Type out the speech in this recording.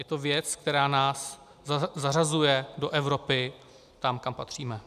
Je to věc, která nás zařazuje do Evropy, tam, kam patříme.